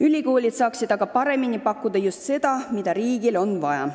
Ülikoolid saaksid aga paremini pakkuda just seda, mida riigile on vaja.